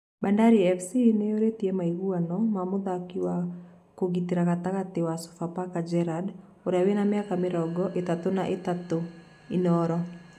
Bandari fc nĩyũrĩtie maiguano ma mũthakĩ wa kũgitĩra gatagatĩ wa Sofapaka Gerard ũrĩa wĩna mĩaka mĩrongo ĩtatũ na ĩtatũ(Inooro)